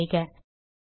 enter செய்க